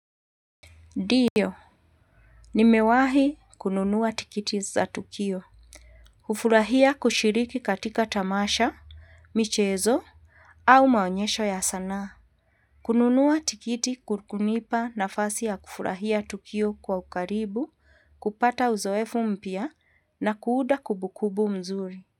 Ndiyo. Nimewahi kununua tiketi za tukio. Kufurahia kushiriki katika tamasha, michezo, au maonyesho ya sanaa. Kununua tikiti ku kunipa nafasi ya kufurahia tukio kwa ukaribu, kupata uzoefu mpya na kuunda kumbukumbu mzuri.